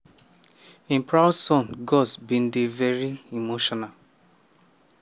im proud son gus bin dey veri emotional